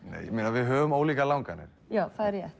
við höfum ólíkar langanir já það er rétt